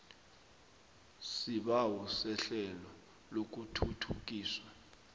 isibawo sehlelo lokuthuthukiswa